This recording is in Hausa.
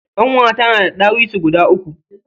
Ƙanwata na da ɗawisu guda uku.